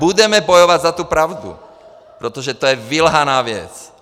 Budeme bojovat za tu pravdu, protože to je vylhaná věc.